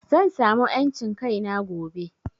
Zan samu en cin kaina gobe